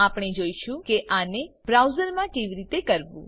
આપણે જોઈશું કે આને બ્રાઉઝરમાં કેવી રીતે કરવું